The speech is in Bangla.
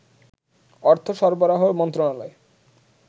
অর্থ সরবরাহ মন্ত্রণালয়ে